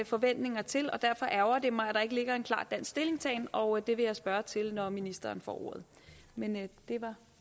forventninger til derfor ærgrer det mig at der ikke ligger en klar dansk stillingtagen og det vil jeg spørge til når ministeren får ordet men det var